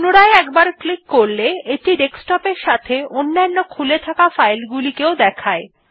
পুনরায় একবার ক্লিক করলে এটি ডেস্কটপ এর সাথে অন্যান্য খুলে থাকে ফাইল গুলিকেও দেখায়